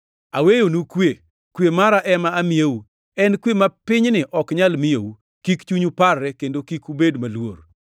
Aweyonu kwe; kwe mara ema amiyou. En kwe ma pinyni ok nyal miyou. Kik chunyu parre kendo kik ubed maluor.